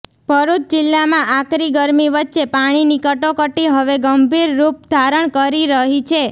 ભરૃચ જિલ્લામા આકરી ગરમી વચ્ચે પાણીની કટોકટી હવે ગંભીર રૃપ ધારણ કરી રહી છે